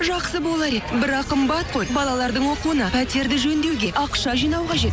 жақсы болар еді бірақ қымбат қой балалардың оқуына пәтерді жөндеуге ақша жинау қажет